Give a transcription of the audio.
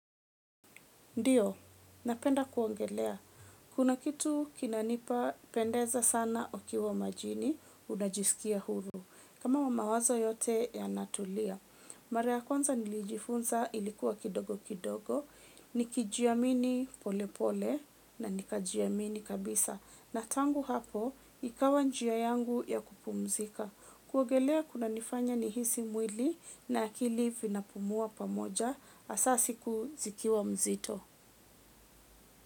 Ndiyo, napenda kuogelea. Kuna kitu kinanipa pendeza sana okiwa majini, unajisikia huru. Kama wama wazo yote yanatulia. Mara kwanza nilijifunza ilikuwa kidogo kidogo, nikijia mini pole pole na nikajiamini kabisa. Na tangu hapo, ikawa njia yangu ya kupumzika. Kuogelea kunanifanya nihisi mwili na akili vinapumua pamoja asa siku zikiwa mzito.